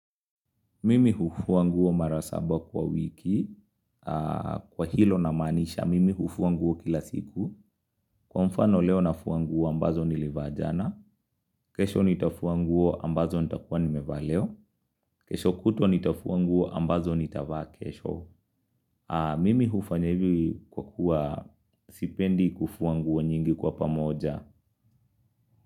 Mimi hufua nguo mara saba kwa wiki. Kwa hilo na maanisha, mimi hufua nguo kila siku. Kwa mfano leo nafuanguo ambazo nilivajana. Kesho nitafuanguo ambazo nitakuwa nime vaa leo. Kesho kutwa nitafua nguo ambazo nitavaa kesho. Mimi hufanya ivi kwa kuwa sipendi kufua nguo nyingi kwa pamoja.